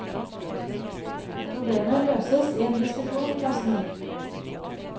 Problemet løses i en diskusjon i klassen.